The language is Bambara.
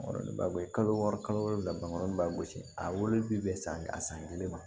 Kalo wɔɔrɔ kalo wolonwula bamananin b'a gosi a wele bɛ bɛn san a san kelen ma